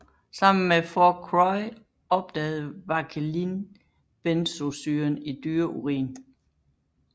Sammen med Fourcroy opdagede Vauquelin benzoesyren i dyreurin